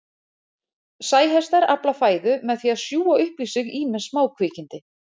Sæhestar afla fæðu með því að sjúga upp í sig ýmis smákvikindi.